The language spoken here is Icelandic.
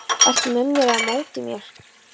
Ertu með mér eða á móti mér?